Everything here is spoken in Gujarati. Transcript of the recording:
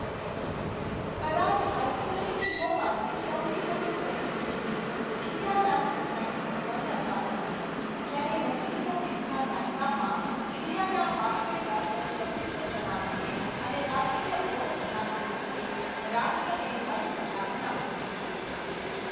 કદાચ હાઈસ્કૂલની ટીમોમાંથી સૌથી વધુ પ્રસિદ્ધ ટીમ ઇન્ડિયાનાની ફ્રેન્કલિન વન્ડર ફાઈવ હતી, જેણે ઓગણીસો વીસના દાયકામાં ઇન્ડિયાના બાસ્કેટબોલ પર પ્રભુત્વ જમાવીને અને રાષ્ટ્રીય ઓળખ પ્રાપ્ત કરીને રાષ્ટ્રને હચમચાવી નાખ્યું હતું.